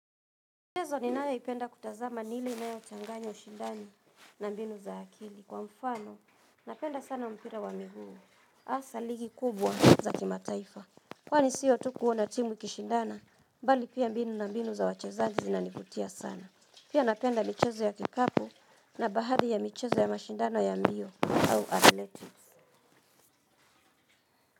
Michezo ninayo ipenda kutazama ni ile inayo changanya shindani na mbinu za akili. Kwa mfano, napenda sana mpira wa miguu. Hasa ligi kubwa za kimataifa. Kwani sio tu kuona timu ikishindana, bali pia mbinu na mbinu za wachezaji zinanivutia sana. Pia napenda michezo ya kikapu na baadhi ya michezo ya mashindano ya mbio au athletics.